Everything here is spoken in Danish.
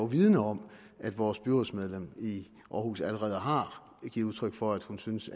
vidende om at vores byrådsmedlem i aarhus allerede har givet udtryk for at hun synes